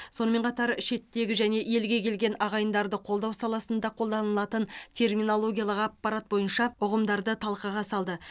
сонымен қатар шеттегі және елге келген ағайындарды қолдау саласында қолданылатын терминологиялық аппарат бойынша ұғымдарды талқыға салды